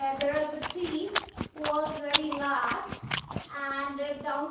and there was a tree who was very large and there down --